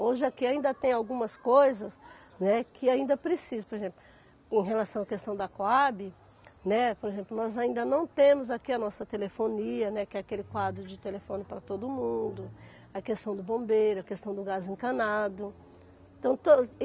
Hoje aqui ainda tem algumas coisas, né, que ainda precisam, por exemplo, em relação à questão da Coabe, né, por exemplo, nós ainda não temos aqui a nossa telefonia, né, que é aquele quadro de telefone para todo mundo, a questão do bombeiro, a questão do gás encanado, então to.